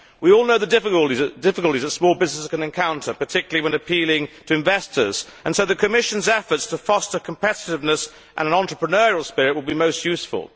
We all know the difficulties that small businesses can encounter, particularly when appealing to investors, and so the Commission's efforts to foster competitiveness and an entrepreneurial spirit will be most useful.